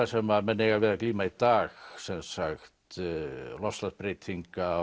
sem menn eiga við að glíma í dag sem sagt loftslagsbreytinga